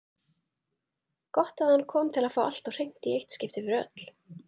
Gott að hann kom til að fá allt á hreint í eitt skipti fyrir öll.